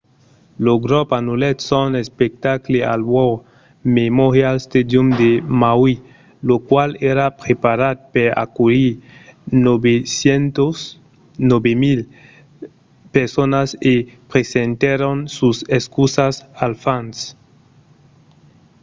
lo grop anullèt son espectacle al war memorial stadium de maui lo qual èra preparat per aculhir 9 000 personas e presentèron sas excusas als fans